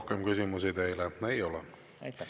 Rohkem küsimusi teile ei ole.